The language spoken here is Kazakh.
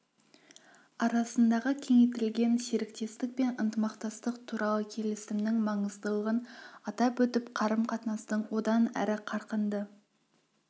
арасындағы кеңейтілген серіктестік пен ынтымақтастық туралы келісімнің маңыздылығын атап өтіп қарым-қатынастың одан әрі қарқынды